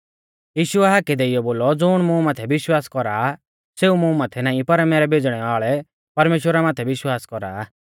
यीशुऐ हाकै देइऔ बोलौ ज़ुण मुं माथै विश्वास कौरा आ सेऊ मुं माथै नाईं पर मैरै भेज़णै वाल़ै परमेश्‍वरा माथै विश्वास कौरा आ